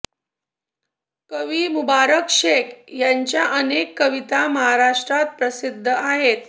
कवी मुबारक शेख यांच्या अनेक कविता महाराष्ट्रात प्रसिद्ध आहेत